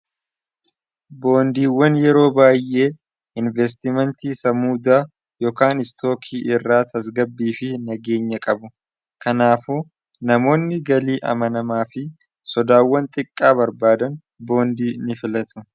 boondiiwwan yeroo baay'ee investimentii samuudaa ykaan istookii irraa tasgabbii fi nageenya qabu kanaafu namoonni galii amanamaa fi sodaawwan xiqqaa barbaadan boondii ni filatu